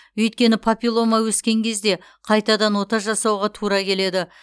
өйткені папиллома өскен кезде қайтадан ота жасауға тура келеді